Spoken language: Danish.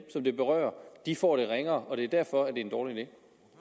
det berører får det ringere og det er derfor at det er en dårlig